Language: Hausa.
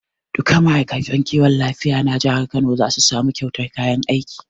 Duka ma'aikatan kiwon lafiya na jihar kano za su samu kyautan kayan aiki